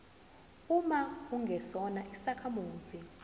uma ungesona isakhamuzi